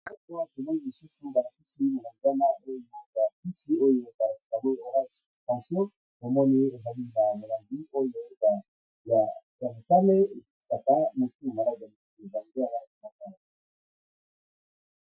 Awa balakisi biso ,Kisi na Kati ya carton ,eza Kisi ya komela na Langi ya motani na Langi ya mosaka, pe na Langi ya pembe.